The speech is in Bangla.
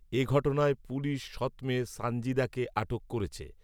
এ ঘটনায় পুলিশ সৎমেয়ে সানজিদাকে আটক করেছে